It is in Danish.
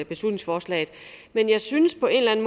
beslutningsforslaget men jeg synes på en